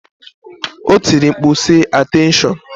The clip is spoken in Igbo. O tiri mkpu, sị, Ateenshon!